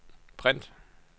print